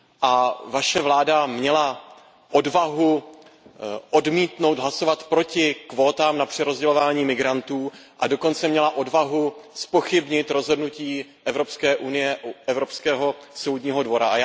A vaše vláda měla odvahu hlasovat proti kvótám na přerozdělování migrantů a dokonce měla odvahu zpochybnit rozhodnutí Evropské unie u Evropského soudního dvora.